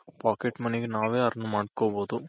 Pocket Money ಗೆ ನಾವೇ Earn ಮಾಡ್ಕೊಬೋದು